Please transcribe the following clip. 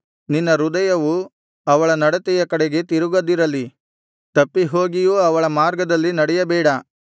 ನಿನ್ನ ಹೃದಯವು ಅವಳ ನಡತೆಯ ಕಡೆಗೆ ತಿರುಗದಿರಲಿ ತಪ್ಪಿಹೋಗಿಯೂ ಅವಳ ಮಾರ್ಗದಲ್ಲಿ ನಡೆಯಬೇಡ